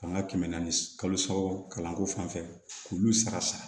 Ka n ka kɛmɛ naani kalo saba kalanko fan fɛ k'olu sara sa